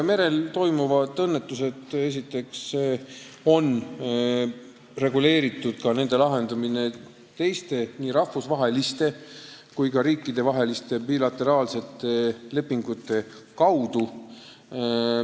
Merel toimuvate õnnetuste lahendamine on esiteks reguleeritud teiste, nii rahvusvaheliste kui ka riikidevaheliste bilateraalsete lepingute kaudu.